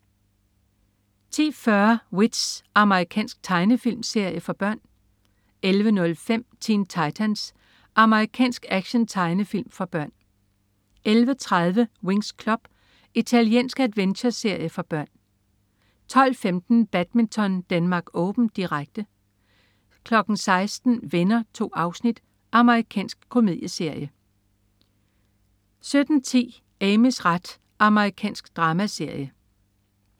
10.40 W.i.t.c.h. Amerikansk tegnefilmserie for børn 11.05 Teen Titans. Amerikansk actiontegnefilm for børn 11.30 Winx Club. Italiensk adventure-serie for børn 12.15 Badminton: Denmark Open, direkte 16.00 Venner. 2 afsnit. Amerikansk komedieserie 17.10 Amys ret. Amerikansk dramaserie